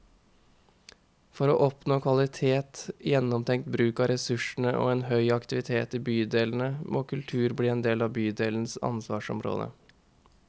For å oppnå kvalitet, gjennomtenkt bruk av ressursene og en høy aktivitet i bydelene, må kultur bli en del av bydelenes ansvarsområde.